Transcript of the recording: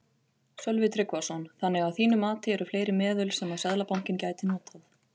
Sölvi Tryggvason: Þannig að þín mati eru fleiri meðöl sem að Seðlabankinn gæti notað?